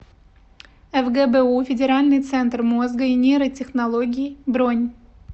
фгбу федеральный центр мозга и нейротехнологий бронь